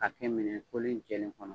K'a kɛ minɛn kolen jɛlen kɔnɔ